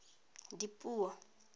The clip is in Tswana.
dipuo